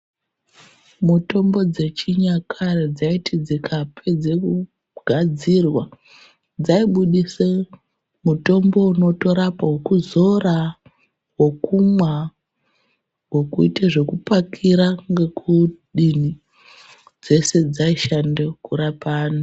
Mitombo dzechinyakare dzaiti dzikapedze kugadzirwa dzaibuditse mutombo unotorapa wekuzora wekumwa wekuita zvekupakira ngekudini dzese dzaishanda kurepa anthu.